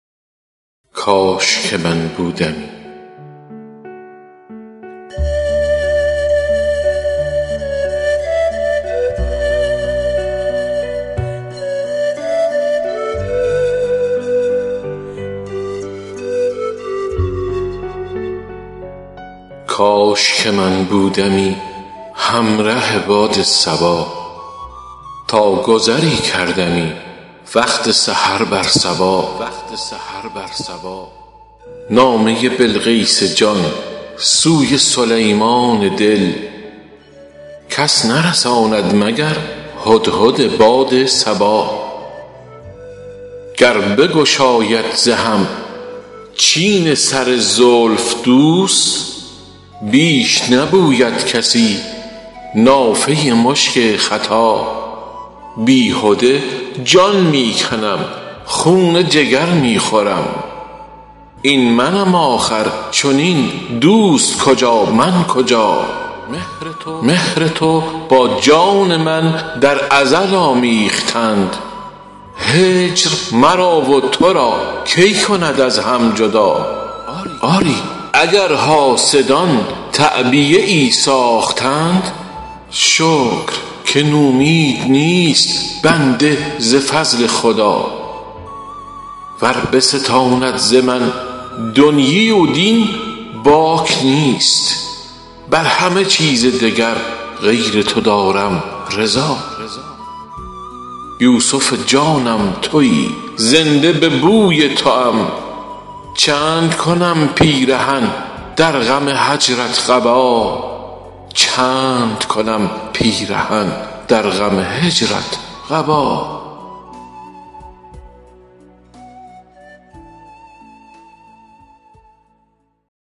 کاش که من بودمی هم ره باد صبا تا گذری کردمی وقت سحر بر سبا نامه ی بلقیس جان سوی سلیمان دل کس نرساند مگر هدهد باد صبا گر بگشاید ز هم چین سر زلف دوست بیش نبوید کسی نافه ی مشک ختا بی هده جان می کنم خون جگر می خورم این منم آخر چنین دوست کجا من کجا مهر تو با جان من در ازل آمیختند هجر مرا و تو را کی کند از هم جدا آری اگر حاسدان تعبیه ای ساختند شکر که نومید نیست بنده ز فضل خدا ور بستاند ز من دنیی و دین باک نیست بر همه چیز دگر غیر تو دارم رضا یوسف جانم تویی زنده به بوی تو ام چند کنم پیرهن در غم هجرت قبا